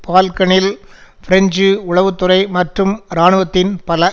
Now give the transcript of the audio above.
பால்கனில் French உளவு துறை மற்றும் இராணுவத்தின் பல